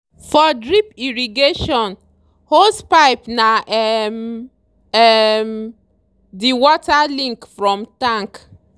for drip irrigation hosepipe na um um the water link from tank.